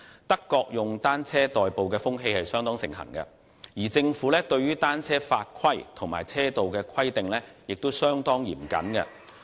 德國以單車代步的風氣相當盛行，而政府對於單車法規和車道的規定亦相當嚴謹。